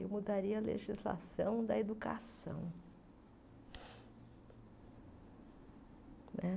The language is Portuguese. Eu mudaria a legislação da educação. Né